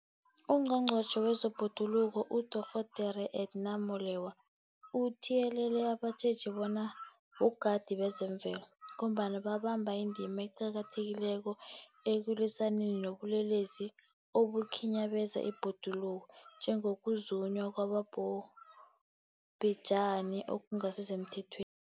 UNgqongqotjhe wezeBhoduluko uDorh Edna Molewa uthiyelele abatjheji bona bogadi bezemvelo, ngombana babamba indima eqakathekileko ekulwisaneni nobulelesi obukhinyabeza ibhoduluko, njengokuzunywa kwabobhejani okungasisemthethweni.